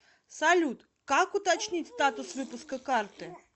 салют как уточнить статус выпуска карты